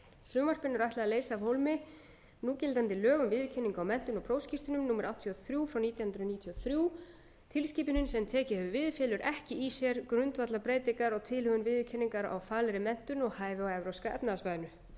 frumvarpinu er ætlað að leysa af hólmi núgildandi lög um viðurkenningu á menntun og prófskírteinum númer áttatíu og þrjú nítján hundruð níutíu og þrjú tilskipunin sem tekið hefur við felur ekki í sér grundvallarbreytingar á tilhögun viðurkenningar á faglegri menntun og hæfi á evrópska efnahagssvæðinu